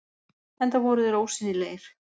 Enda voru þeir ósýnilegir.